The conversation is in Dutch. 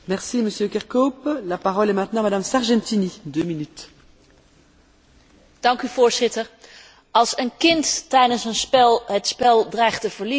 Voorzitter, als een kind tijdens een spel het spel dreigt te verliezen, verandert het de spelregels Oh, zei ik dat de bal in het rode doel moest?